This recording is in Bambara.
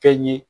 Fɛn ye